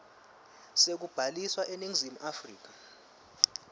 sekubhaliswa eningizimu afrika